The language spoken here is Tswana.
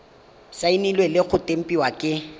saenilwe le go tempiwa ke